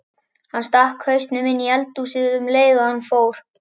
Hann stakk hausnum inní eldhúsið um leið og hann fór.